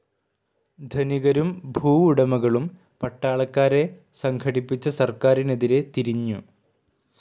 ധനികരും ഭൂവുടമകളും പട്ടളക്കാരെ സംഘടിപ്പിച്ച സർക്കാരിനെതിരെ തിരിഞ്ഞു.